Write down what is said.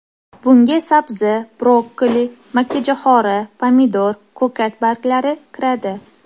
Bunga sabzi, brokkoli, makkajo‘xori, pomidor, ko‘kat barglari kiradi.